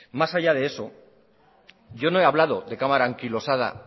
más allá de eso yo no he hablado de cámara anquilosada